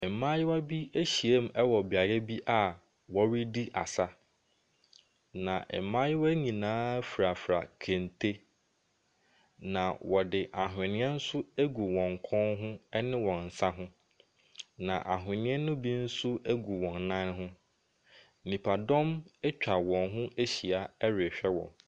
Mmaayewa bi ahyiam wɔ beaeɛ bi a wɔredi asa. Na mmayewa y I nyinaa furafura kente. Na wɔde ahweneɛ agu wɔn kɔn ho ne wɔn nsa ho. Na ahweneɛ bi nso gu wɔn nan ho. Nnipadɔnm atwa wɔn ho ahyia erhwɛ wɔn.